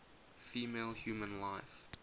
female human life